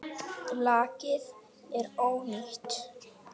Lakið er ónýtt!